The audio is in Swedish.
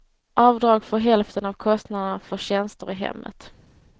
Avdrag för hälften av kostnaderna för tjänster i hemmet.